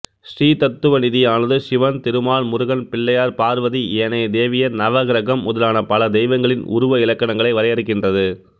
ஸ்ரீதத்துவநிதியானது சிவன் திருமால் முருகன் பிள்ளையார் பார்வதி ஏனைய தேவியர் நவக்கிரகம் முதலான பல தெய்வங்களின் உருவ இலக்கணங்களை வரையறுக்கின்றது